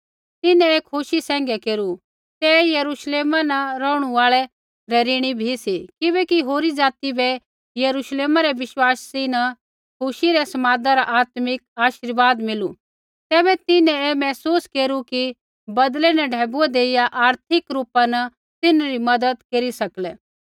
तिन्हैं ऐ खुशी सैंघै केरू तै यरूश्लेमा न रौहणु आल़ै रै ऋणी बी सी किबैकि होरी ज़ाति बै यरुश्लेमा रै विश्वासी न खुशी रै समादा रा आत्मिक आशीर्वाद मिलू तैबै तिन्हैं ऐ महसूस केरू कि बदलै न ढैबुऐ देइया आर्थिक रूपा न तिन्हरी मज़त केरी सकलै